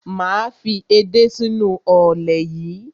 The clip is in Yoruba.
Máa fi edé sínú ọ̀lẹ̀ yẹn.